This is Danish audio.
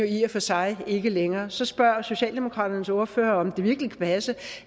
i og for sig ikke længere så spørger socialdemokraternes ordfører om det virkelig kan passe